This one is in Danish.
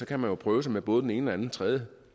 kan man jo prøve med både den ene den anden og tredje